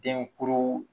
Denkuru